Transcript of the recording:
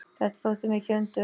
Þetta þótti mikið undur.